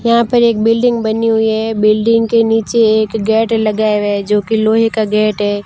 यहां पर एक बिल्डिंग बनी हुई है बिल्डिंग के नीचे एक गेट लगाया हुआ है जो की लोहे का गेट है।